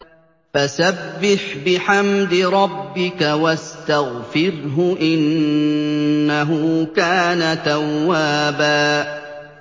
فَسَبِّحْ بِحَمْدِ رَبِّكَ وَاسْتَغْفِرْهُ ۚ إِنَّهُ كَانَ تَوَّابًا